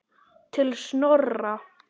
Til Snorra.